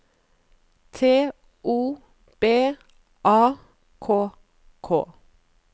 T O B A K K